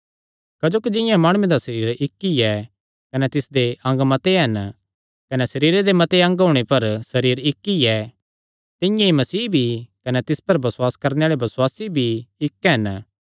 क्जोकि जिंआं माणुये दा सरीर इक्क ऐ कने तिसदे अंग मत्ते हन कने सरीरे दे मते अंग होणे पर भी सरीर इक्क ई ऐ तिंआं ई मसीह भी कने तिस पर बसुआस करणे आल़े बसुआसी भी इक्क हन